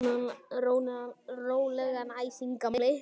Rólegan æsing, gamli!